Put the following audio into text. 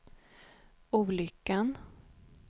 olyckan